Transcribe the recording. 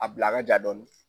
A bila a ka ja dɔɔni.